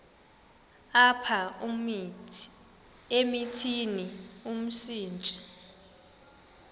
apha emithini umsintsi